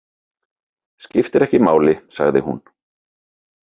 Skiptir ekki máli, sagði hún.